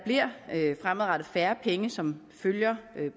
der fremadrettet bliver færre penge som følger